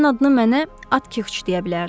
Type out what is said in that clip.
Sənin adını mənə Atkiç deyə bilərdi.